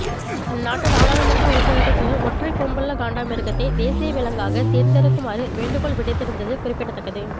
அந்நாட்டு நாடாளுமன்ற உறுப்பினர்கள் சிலர் ஒற்றைக் கொம்புள்ள காண்டாமிருகத்தை தேசிய விலங்காக தேர்ந்தெடுக்குமாறு வேண்டுகோள் விடுத்திருந்தது குறிப்பிடத்தக்கது